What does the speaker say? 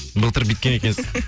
былтыр бүйіткен екенсіз